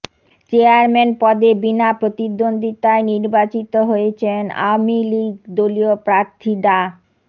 chairman পদে বিনা প্রতিদ্বন্দ্বিতায় নির্বাচিত হয়েছেন আওয়ামী লীগ দলীয় প্রার্থী ডা